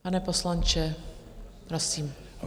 Pane poslanče, prosím.